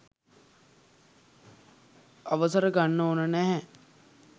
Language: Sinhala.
අවසර ගන්න ඕන නැහැ